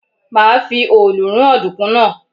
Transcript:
Màá fi òòlù rún ọ̀dùnkún náà.